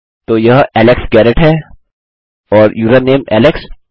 तो यह Alex Garrett है और यूजरनेम एलेक्स